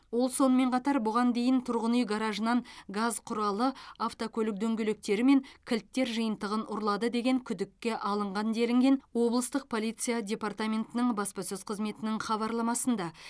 ол сонымен қатар бұған дейін тұрғын үй гаражынан газ құралы автокөлік дөңгелектері мен кілттер жиынтығын ұрлады деген күдікке алынған делінген облыстық полиция департаментінің баспасөз қызметінің хабарламасында